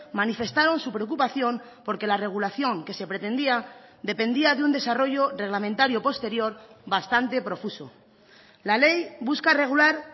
manifestaron su preocupación porque la regulación que se pretendía dependía de un desarrollo reglamentario posterior bastante profuso la ley busca regular